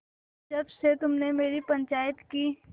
जब से तुमने मेरी पंचायत की